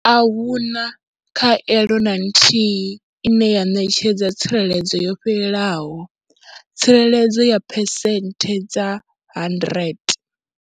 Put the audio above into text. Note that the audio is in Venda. A hu na khaelo na nthihi ine ya ṋetshedza tsireledzo yo fhelelaho, tsireledzo ya phesenthe dza 100.